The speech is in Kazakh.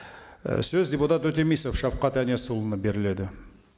і сөз депутат өтемісов шавқат әнесұлына беріледі